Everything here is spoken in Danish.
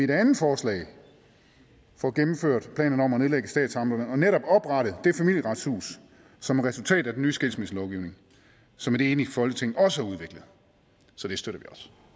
det andet forslag får gennemført planerne om at nedlægge statsamterne og netop oprette det familieretshus som er resultatet af den nye skilsmisselovgivning som et enigt folketing også har udviklet så det støtter vi